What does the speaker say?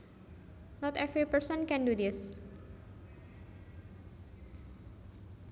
Not every person can do this